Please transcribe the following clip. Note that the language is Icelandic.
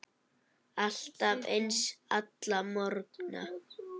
Alltaf eins, alla morgna.